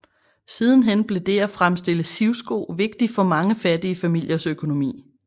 Sidenhen blev det at fremstille sivsko vigtigt for mange fattige familiers økonomi